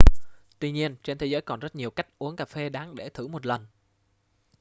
tuy nhiên trên thế giới còn rất nhiều cách uống cà phê đáng để thử một lần